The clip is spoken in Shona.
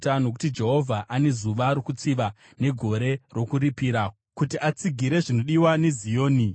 Nokuti Jehovha ane zuva rokutsiva negore rokuripira kuti atsigire zvinodiwa neZioni.